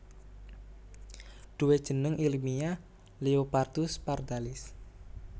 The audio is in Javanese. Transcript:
Duwe jeneng ilmiyah Leopardus Pardalis